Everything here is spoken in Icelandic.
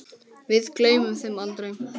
Við gleymum þeim aldrei.